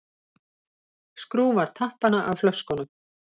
Skrúfar tappana af flöskunum.